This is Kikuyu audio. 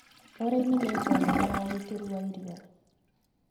ũrĩmi nĩ ngo nene ya ũgitĩri wa irio.